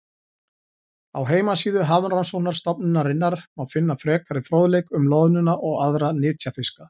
Á heimasíðu Hafrannsóknastofnunarinnar má finna frekari fróðleik um loðnuna og aðra nytjafiska.